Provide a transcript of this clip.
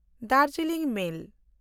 Darjeeling ᱢᱮᱞ